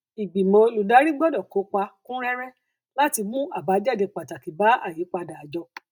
ìgbìmọ olùdarí gbọdọ kópa kúnréré láti mú àbájáde pàtàkì bá ìyípadà àjọ